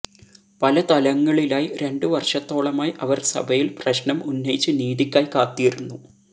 പല തലങ്ങളിലായി രണ്ടു വര്ഷത്തോളമായി അവര് സഭയില് പ്രശ്നം ഉന്നയിച്ച് നീതിക്കായി കാത്തിരുന്നു